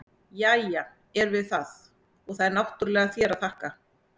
Jæja, erum við það, og það er náttúrlega þér að þakka!